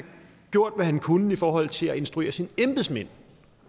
gjort hvad han kunne i forhold til at instruere sine embedsmænd